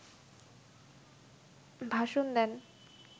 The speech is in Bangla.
ভাষণ দেন